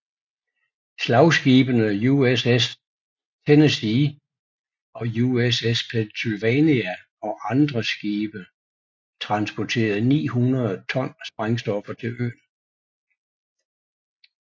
Slagskibene USS Tennessee og USS Pennsylvania og andre skibe transportede 900 ton sprængstoffer til øen